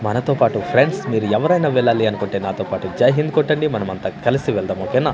మనతో పాటు ఫ్రెండ్స్ మీరెవరైనా వెళ్ళాలి అనుకుంటే నాతో పాటు జై హింద్ కొట్టండి మనమంతా కలిసి వెళదాము ఒకే నా.